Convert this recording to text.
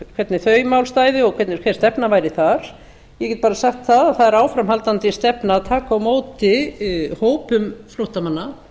hvernig þau mál stæðu og hvernig stefnan væri þar ég get bara sagt að það er áframhaldandi stefna að taka á móti hópum flóttamanna